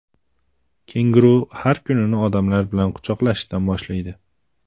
Kenguru har kunini odamlar bilan quchoqlashishdan boshlaydi.